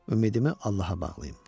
Ümidimi Allaha bağlayım.